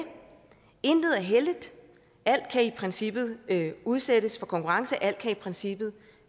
intet er helligt at alt i princippet kan udsættes for konkurrence at alt i princippet